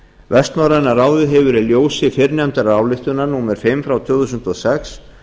vestnorræna ráðið hefur í ljósi fyrrnefndar ályktunar númer fimm tvö þúsund og sex